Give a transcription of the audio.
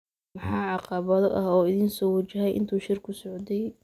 Maxaa caqabado ah oo idin soo wajahay intii uu shirku socday?